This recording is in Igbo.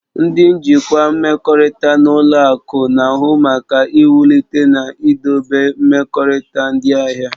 Ndị njikwa mmekọrịta na ụlọ akụ na-ahụ maka iwulite na idobe mmekọrịta ndị ahịa.